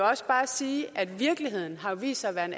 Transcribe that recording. også bare sige at virkeligheden har vist sig at være en